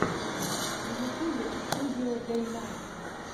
на ютьюбе студио дэйнайт